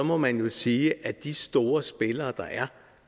må man jo sige at de store spillere der er